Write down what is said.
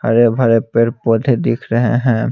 हरे भरे पेड़ पौधे दिख रहे है।